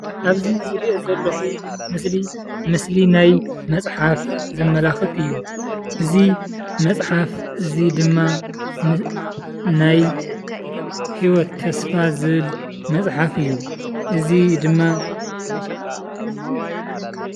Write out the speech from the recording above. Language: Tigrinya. ኣብዚ ትሪእይዎ ዘለኹም ምስሊ ምስሊ ናይ መፅሓፍ ዘመላኽት እዩ። እዚ መፅሓፍ እዚ ድማ ናይ ሂወት ተስፋ ዝብል መፅሓፍ እዩ። እዚ ድማ